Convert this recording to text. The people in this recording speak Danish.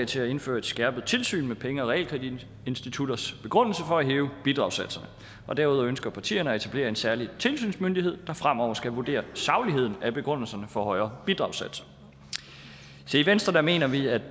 til at indføre et skærpet tilsyn med penge og realkreditinstitutters begrundelser for at hæve bidragssatserne derudover ønsker partierne at etablere en særlig tilsynsmyndighed der fremover skal vurdere sagligheden af begrundelserne for højere bidragssatser i venstre mener vi at